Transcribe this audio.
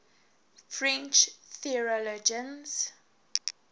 french theologians